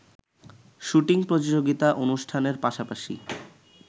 shooting প্রতিযোগিতা অনুষ্ঠানের পাশাপাশি